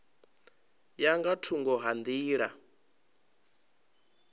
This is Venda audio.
ya nga thungo ha nḓila